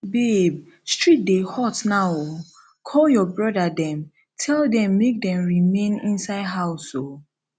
babe street dey hot now oo call your your brother dem tell dem make dem remain inside house oo